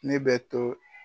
Ne bɛ to